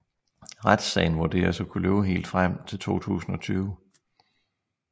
Retssagen vurderes at kunne løbe helt frem til 2020